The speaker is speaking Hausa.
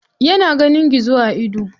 Yana ganin gizo a ido.